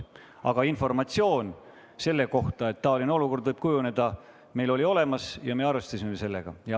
Aga informatsioon selle kohta, et taoline olukord võib kujuneda, oli meil olemas ja me arvestasime sellega.